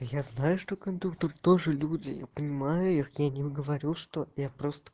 я знаю что кондукторы тоже люди я понимаю их я не говорю что я просто